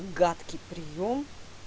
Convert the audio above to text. гадкий приём